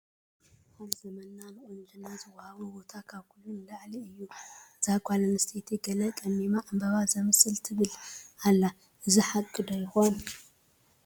ኣብ ዘመንና ንቑንጅና ዝወሃቦ ቦታ ካብ ኩሉ ንላዕሊ እዩ፡፡ እዛ ጓል ኣንስተይቲ ገለ ቀሚማ ዕምበባ ዘምስል ትብል ኣላ፡፡ እዚ ሓቂ ዶ ይኾን?